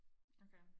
okay